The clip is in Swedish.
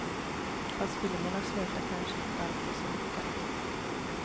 Fast filmerna slutar kanske inte alltid så lyckat.